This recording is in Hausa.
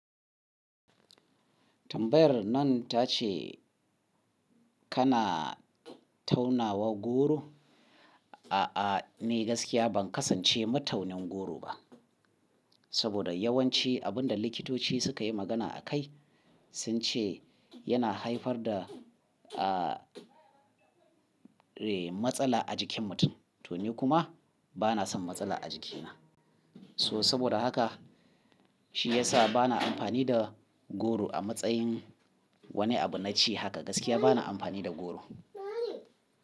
Tambayar nan ta ce kana taunawa goro? A'a, ni gaskiya ban kasance mataunin goro ba. Saboda yawanci abun da likitoci suka yi magana a kai sun ce yana haifar da, ah, eh, matsala a jikin mutum. To ni kuma bana son matsala a jikina. So saboda haka shi ya sa bana amfani da goro a matsayin wani abu na ci haka gaskiya bana amfani da goro.